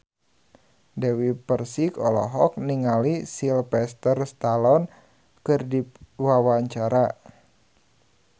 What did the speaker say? Dewi Persik olohok ningali Sylvester Stallone keur diwawancara